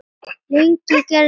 Lengi vel gerðist lítið.